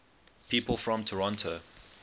people from toronto